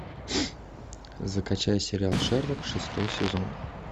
закачай сериал шерлок шестой сезон